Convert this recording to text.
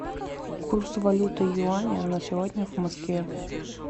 курс валюты юаня на сегодня в москве